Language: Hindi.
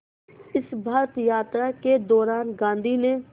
इस भारत यात्रा के दौरान गांधी ने